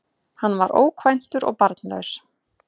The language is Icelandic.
Hann var ókvæntur og barnlaus